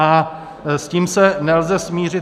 A s tím se nelze smířit.